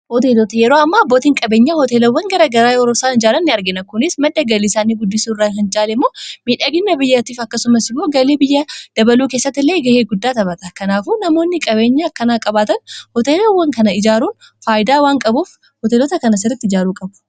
hoteelota yeroo amma abbootii qabeenyaa hooteelawwan garagaraa yeroosaan ijaaran ni argina kunis madda galii isaanii guddisu irraa kan caalemmoo miidhagina biyyaatiif akkasumas immoo galii biyyaa dabaluu keessatti illee ga'ee guddaa taphata. kanaafuu namoonni qabeenyaa kana qabaatan hoteelawwan kana ijaaruun faayidaa waan qabuuf hooteelota kana sirriitti ijaaruu qabu